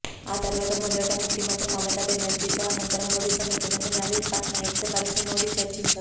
ఆ తర్వాత మొదట ముఖ్యమంత్రి మమతా బెనర్జీతో అనంతరం ఒడిశా ముఖ్యమంత్రి నవీన్ పట్నాయక్ తో కలిసి మోడి చర్చిస్తారు